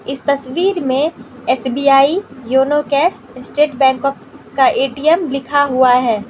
इस तस्वीर में SBI YONO cash state bank of का ए_टी_एम लिखा हुआ है।